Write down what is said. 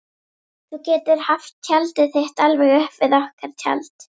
Þú getur haft tjaldið þitt alveg upp við okkar tjald.